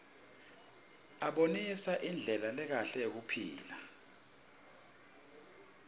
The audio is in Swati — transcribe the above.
abonisa indlela lekahle yekuphila